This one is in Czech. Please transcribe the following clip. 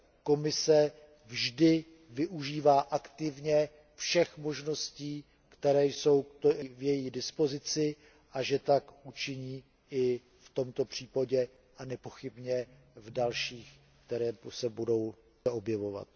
Komise vždy využívá aktivně všech možností, které jsou v její dispozici, a že tak učiní i v tomto případě a nepochybně v dalších, které se budou objevovat.